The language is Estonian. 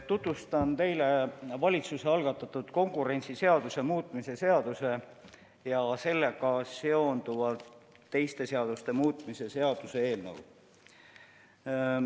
Tutvustan teile valitsuse algatatud konkurentsiseaduse muutmise seaduse ja sellega seonduvalt teiste seaduste muutmise seaduse eelnõu.